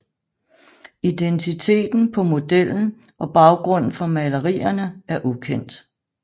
Identiteten på modellen og baggrunden for malerierne er ukendt